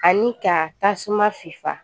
Ani ka tasuma fifa